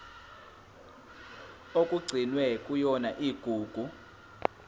okugcinwe kuyona igugu